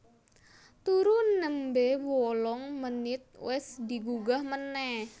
Turu nembe wolong menit wes digugah meneh